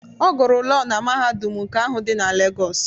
Ọ gụrụ Lọọ na mahadum nke ahụ dị na Legos.